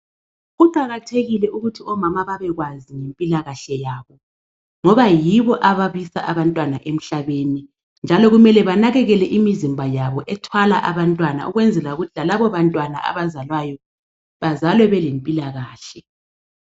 Kuqakathekile ukuthi omama babekwazi impilakahle yabo ngoba yibo ababisa abantwana emhlabeni njalo kumele banakekele imizimba yabo ethwala abantwana ukwenzela ukuthi lalabo bantwana abazalwayo bazalwe belempilakahle.